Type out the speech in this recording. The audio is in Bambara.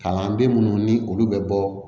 Kalanden minnu ni olu bɛ bɔ